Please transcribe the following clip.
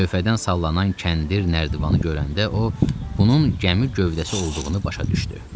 Lövhədən sallanan kəndir nərdivanı görəndə o, bunun gəmi gövdəsi olduğunu başa düşdü.